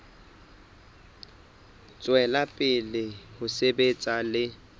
tswela pele ho sebetsa le